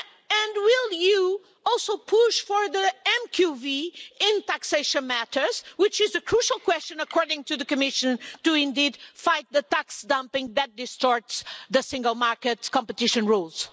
And will you also push for the MQV in taxation matters, which is a crucial question according to the Commission, to indeed fight the tax dumping that distorts single market competition rules?